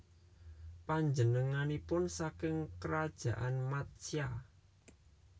Panjenenganipun saking Krajaan Matsya